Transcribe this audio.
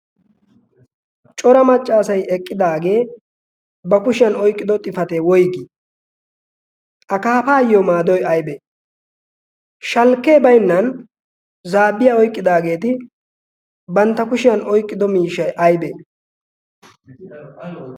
cora maccaasay eqqidaagee ba kushiyan oyqqido xifatee woyggii akaafaayyo maadoy aybee shalkkee baynnan zaabbiyaa oyqqidaageeti bantta kushiyan oyqqido miisha aybee